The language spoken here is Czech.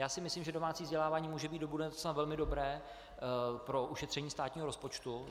Já si myslím, že domácí vzdělávání může být do budoucna velmi dobré pro ušetření státního rozpočtu.